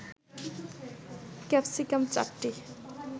capsicum ৪টি